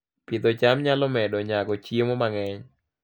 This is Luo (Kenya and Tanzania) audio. Pidho cham nyalo medo nyago chiemo mang'eny